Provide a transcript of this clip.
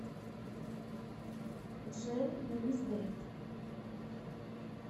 джин луис дэвид